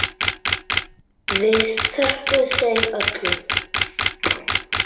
Við þökkum þeim öllum.